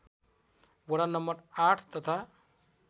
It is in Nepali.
वडा नं ८ तथा